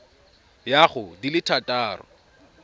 ya go di le thataro